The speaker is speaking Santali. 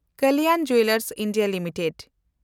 Kalyan jewellers India limited